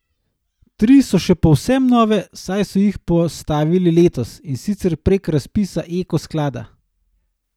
Tri so še povsem nove, saj so jih postavili letos, in sicer prek razpisa Eko sklada.